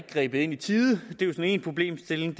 grebet ind i tide og det er jo én problemstilling